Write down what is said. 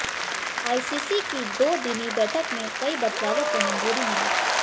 ICC की दो दिनी बैठक में कई बदलावों को मंजूरी मिली